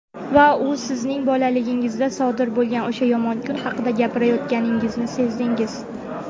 Va u sizning bolaligingizda sodir bo‘lgan "o‘sha yomon kun" haqida gapirayotganini sezdingiz.